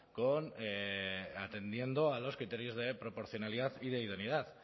con atendiendo a los criterios de proporcionalidad y de idoneidad